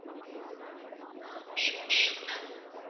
ah name Dev ma'am